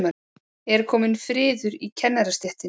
Er kominn friður í kennarastéttinni?